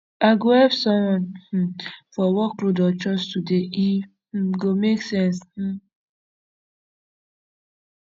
i go help someone um for workload or chores today e um go make sense um